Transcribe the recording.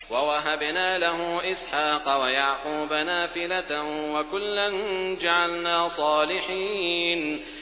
وَوَهَبْنَا لَهُ إِسْحَاقَ وَيَعْقُوبَ نَافِلَةً ۖ وَكُلًّا جَعَلْنَا صَالِحِينَ